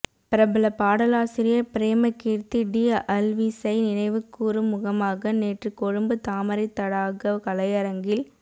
பிரபல பாடலாசிரியர் பிரேமகீர்த்தி டி அல்விஸை நினைவுக்கூரும் முகமாக நேற்று கொழும்பு தாமரைத் தடாக கலையரங்கில்